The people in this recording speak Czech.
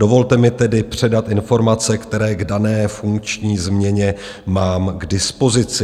Dovolte mi tedy předat informace, které k dané funkční změně mám k dispozici.